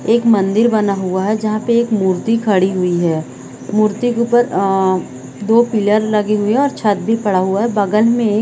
एक मंदिर बना हुआ है जहाँ पे एक मूर्ति खड़ी हुई है मूर्ति के ऊपर अ दो पिलर लगे हुएं है और छत भी पड़ा हुआ है बगल में एक--